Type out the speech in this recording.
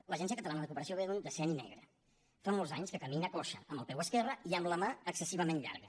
l’agència catalana de cooperació ve d’un decenni negre fa molts anys que camina coixa amb el peu esquerre i amb la mà excessivament llarga